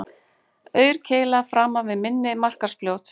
Aurkeila framan við mynni Markarfljóts